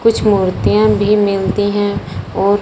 कुछ मूर्तियां भी मिलती हैं और --